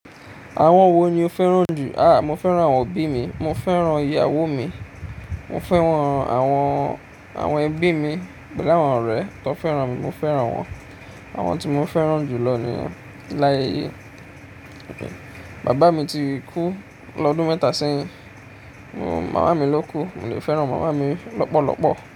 Àwọn wo ni o fẹ́ràn jù? Aà, mo fẹ́ràn àwọn òbí mi, mo fẹ́ràn ìyàwó mi, mo fẹ́ràn àwọn, àwọn ẹbí mi pẹ̀lú àwọn ọ̀rẹ́ tán fẹ́ràn mi, mo fẹ́ràn wọ́n. Àwọn tí mo fẹ́ràn jù lọ nìyẹn. Láye ayé, bàbá mi ti kú lọ́dún mẹ́ta sẹ́yìn, mo, màmá mi ló kú, mo lè fẹ́ràn màmá mi lọ́pọ̀lọ́pọ̀